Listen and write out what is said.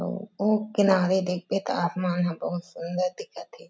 अउ ओ किनारे देखबे त आसमान ह बहुत सुन्दर दिखत हे।